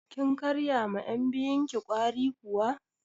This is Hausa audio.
Kin karya ma yan' biyun ki ƙwari kuwa?